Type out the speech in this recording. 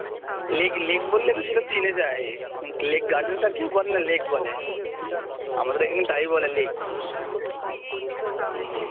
lake lake বললেই তো সব চিনে যায় লেক গার্ডেনস আর কেউ বলে না লেক বলে আমাদের এখানে টাই বলে লেক হম